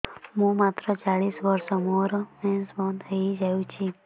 ମୁଁ ମାତ୍ର ଚାଳିଶ ବର୍ଷ ମୋର ମେନ୍ସ ବନ୍ଦ ହେଇଯାଇଛି